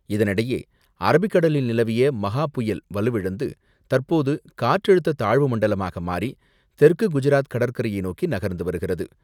இதனிடையே அரபிக்கடலில் நிலவிய மஹா புயல் வலுவிழந்து தற்போது காற்றழுத்த தாழ்வு மண்டலமாக மாறி, தெற்கு குஜராத் கடற்கரையை நோக்கி நகர்ந்து வருகிறது.